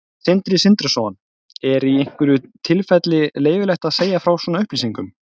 Sindri Sindrason: Er í einhverjum tilfellum leyfilegt að segja frá svona upplýsingum?